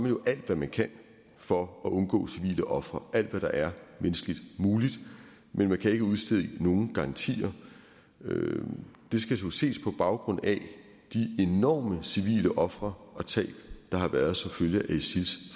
jo alt hvad man kan for at undgå civile ofre gør alt hvad der er menneskeligt muligt men man kan ikke udstede nogen garantier det skal jo ses på baggrund af de enorme civile ofre og tab der har været som følge af isils